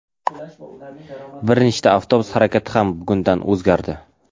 Bir nechta avtobus harakati ham bugundan o‘zgardi.